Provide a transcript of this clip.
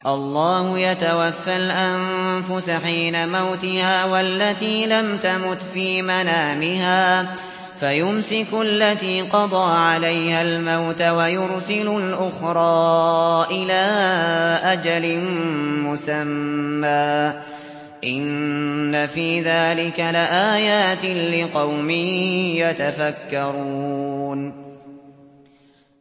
اللَّهُ يَتَوَفَّى الْأَنفُسَ حِينَ مَوْتِهَا وَالَّتِي لَمْ تَمُتْ فِي مَنَامِهَا ۖ فَيُمْسِكُ الَّتِي قَضَىٰ عَلَيْهَا الْمَوْتَ وَيُرْسِلُ الْأُخْرَىٰ إِلَىٰ أَجَلٍ مُّسَمًّى ۚ إِنَّ فِي ذَٰلِكَ لَآيَاتٍ لِّقَوْمٍ يَتَفَكَّرُونَ